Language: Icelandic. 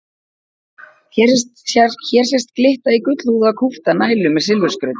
Hér sést glitta í gullhúðaða kúpta nælu með silfurskrauti.